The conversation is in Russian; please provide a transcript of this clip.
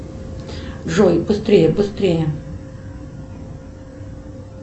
джой быстрее быстрее